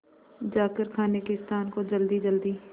जाकर खाने के स्थान को जल्दीजल्दी